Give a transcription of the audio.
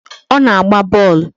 Ọ na-agba bọọlụ